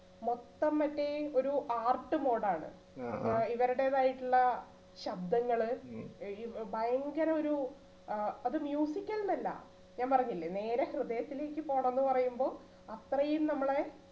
മൊത്തം മറ്റേ ഒരു art mode ആണ് ഇവരുടെതായിട്ടുള്ള ശബ്ദങ്ങള് ഏർ ഇപ്പൊ ഭയങ്കര ഒരു ആഹ് അത് al ന്ന് അല്ല ഞാൻ പറഞ്ഞില്ലേ നേരെ ഹൃദയത്തിലേക്ക് പോണംന്നു പറയുമ്പോ അത്രയും നമ്മളെ